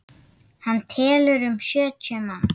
Hann telur um sjötíu manns.